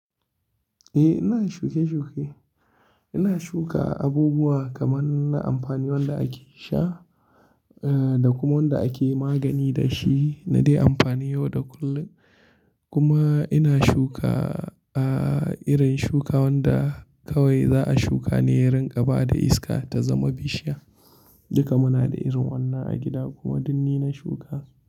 Eh, ina shuke-shuke. Ina shuka abubuwa kamar na amfani wanda ake sha, eh da kuma wanda ake magani da shi na dai amfani yau da kullum. Kuma ina shuka, ah irin shuka wanda kawai za a shuka ne yin gaba da iska ta zama bishiya. Duka muna da irin wannan a gida kuma duk ni na shuka.